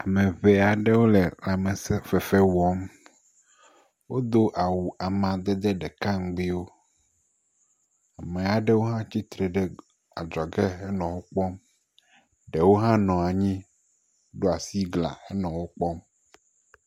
Ame ŋee aɖewo le lãmesẽ fefe wɔm. Wodo awu amadede ɖeka ŋugbuiwo, ame aɖewo hã tsi tre ɖe adzɔge henɔ wo kpɔm, ɖewo hã nɔ anyi ɖo asi gla henɔ wo kpɔm.